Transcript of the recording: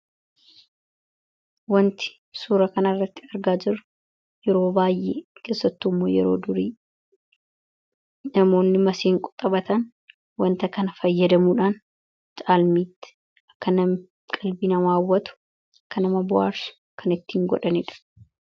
Wanti suura kana irratti argaa jiru yeroo baay'ee kessattuu immoo yeroo durii namoonni masiin quxabatan wanta kana fayyadamuudhaan caalmiitti akka namqilbii namaawwatu akka nama bu'aarsu kan ittiin godhanidha.